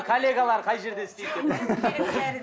коллегалар қай жерде істейді деп